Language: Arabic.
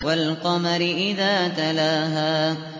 وَالْقَمَرِ إِذَا تَلَاهَا